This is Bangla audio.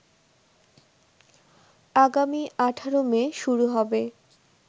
আগামী ১৮ মে শুরু হবে